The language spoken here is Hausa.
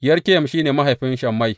Rekem shi ne mahaifin Shammai.